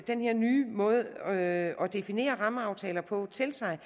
den her nye måde at definere rammeaftaler på til sig